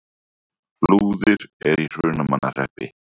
Flúðir er í Hrunamannahreppi.